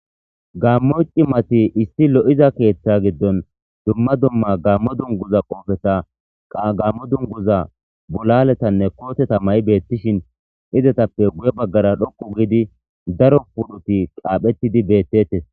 Gammoci mati issi lo'iza keeththa giddon dumma dumma gammo dunguza qoofeta qagammo dunguza bulaletanne kooteta ma' beettishin izetappe guye baggara dhokku giidi daro pudhuti qaaphettidi beettetes